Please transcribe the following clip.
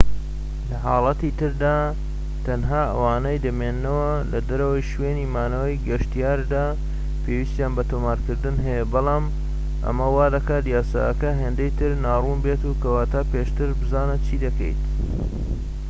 لە حاڵەتی تردا تەنها ئەوانەی دەمێننەوە لەدەرەوەی شوێنی مانەوەی گەشتیاردا پێویستیان بە تۆمارکردن هەیە بەڵام ئەمە وادەکات یاساکە هێندەی تر ناڕوون بێت کەواتە پێشتر بزانە چی دەکەیت